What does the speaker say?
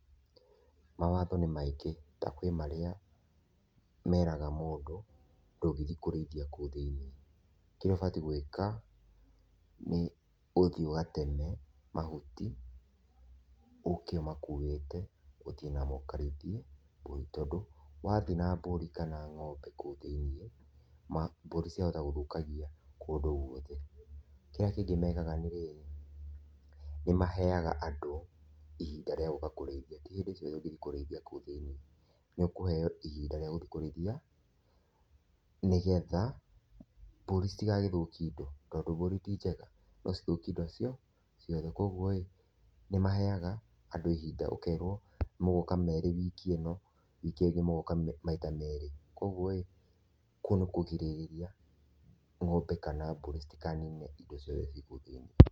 Mawatho nĩ maingĩ, na kwĩ marĩa meraga mũndũ ,ndũngĩthĩĩ kũrĩithia kũu thĩiniĩ, kĩrĩa ũbatĩi gwĩka nĩ ũthĩĩ ũgateme mahuti, ũke ũmakiwĩte ũthĩĩ namo ũkarĩithie mbũri, tondũ wathĩĩ na mbũri kana ng'ombe kũu thĩ-iniĩ, mbũri ciahota gũthũkangia kũndũ guothe. Kĩrĩa kĩngĩ mekaga nĩ rĩrĩ nĩmaheyaga andũ ihinda rĩa gũka kũrĩithia, ti hĩndĩ ciothe ũngĩthĩĩ kũrĩithia kũu thĩiniĩ, nĩ ũkũheyo ihinda rĩa gũthiĩ kũrĩithia nĩgetha mbũri citigagĩthũkie ĩndo, tondũ mbũri ti njega no cithũkiĩ ĩndo ciothe. Koguo rĩ nĩ maheyaga andũ ihinda ũkerwo mũgoka merĩ wiki ĩno, wiki ĩyo ĩngĩ mũgoka maita meri, koguo rĩ kũu nĩ kũgirĩrĩria ng'ombe kana mbũri citikanine ĩndo ciothe ci kũu thĩiniĩ.